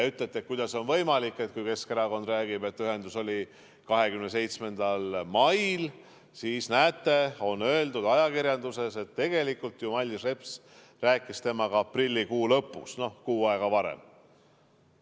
Ütlesite, et kuidas on võimalik, kui Keskerakond räägib, et ühendus oli 27. mail, aga näete, on öeldud ajakirjanduses, et tegelikult ju Mailis Reps rääkis temaga aprillikuu lõpus, kuu aega varem.